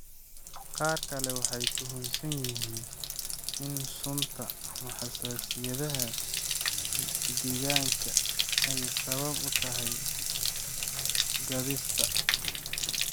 Qaar kale waxay tuhunsan yihiin in sunta ama xasaasiyadaha deegaanka ay sabab u tahay soo-gaadhista.